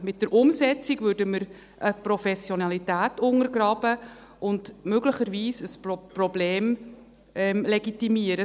Mit der Umsetzung würden wir eine Professionalität untergraben und möglicherweise ein Problem legitimieren.